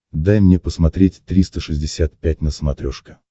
дай мне посмотреть триста шестьдесят пять на смотрешке